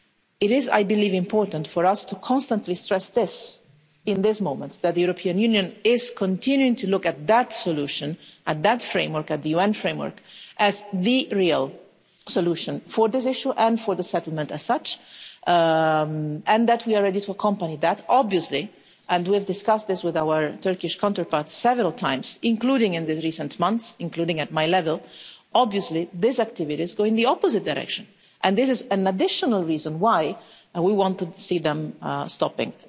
It is, I believe, important for us to constantly stress this the fact that, in this moment, the European Union is continuing to look at that solution, at that framework at the UN framework as the real solution for this issue and for the settlement as such, and that we are obviously ready to accompany this. We have discussed this with our Turkish counterparts several times, including in the recent months, including at my level obviously this activity is going in the opposite direction, and this is an additional reason why we want to see them stopping.